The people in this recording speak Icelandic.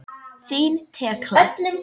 Þín Tekla.